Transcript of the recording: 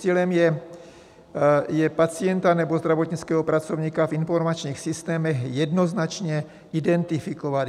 Cílem je pacienta nebo zdravotnického pracovníka v informačních systémech jednoznačně identifikovat.